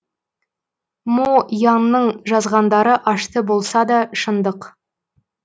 мо янның жазғандары ашты болса да шындық